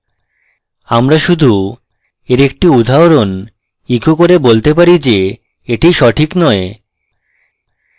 আমরা শুধু we একটি উদাহরণ ইকো করে বলতে পারি যে এটি সঠিক নয়